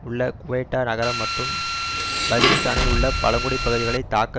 உள்ள குவெட்டா நகரம் மற்றும் வஜீரிஸ்தானில் உள்ள பழங்குடி பகுதிகளை தாக்க